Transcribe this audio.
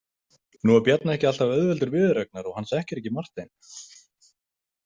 Nú er Bjarni ekki alltaf auðveldur viðureignar og hann þekkir ekki Martein.